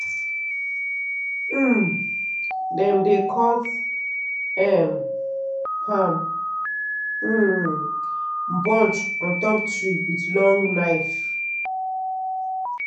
um dem dey cut um palm um bunch on top tree with long knife.